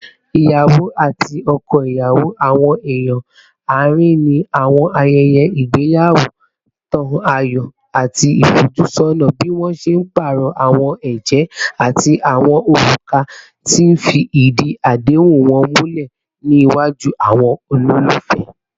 Iyawo ati ọkọ iyawo, awọn eeyan aarin ni awọn ayẹyẹ igbeyawo, n tan ayọ ati ifojusona bi wọn ṣe paarọ awọn ẹjẹ ati awọn oruka, ti n fi idi adehun wọn mulẹ niwaju awọn ololufẹ